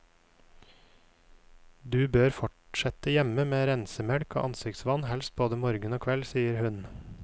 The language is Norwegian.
Du bør fortsette hjemme med rensemelk og ansiktsvann helst både morgen og kveld, sier hun.